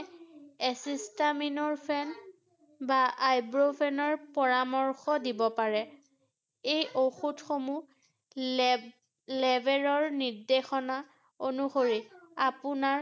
acetaminophen বা iburofen ৰ পৰাৰ্মশ দিব পাৰে ৷ এই ঔষধ সমূহ labourer নিৰ্দেশনা অনুসৰি আপোনাৰ